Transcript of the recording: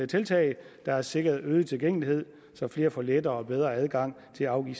tiltag der har sikret øget tilgængelighed så flere får lettere og bedre adgang til at afgive